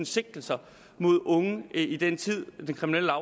sigtelser mod unge i den tid den kriminelle